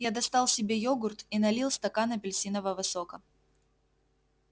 я достал себе йогурт и налил стакан апельсинового сока